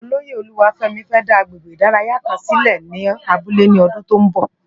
Ólóyé Oluwafemi fè dá àgbégbé idàráyá kán silé ni àbúlé è ni òdún tó n bò